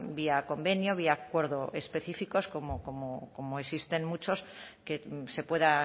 vía convenio vía acuerdos específicos como existen muchos que se pueda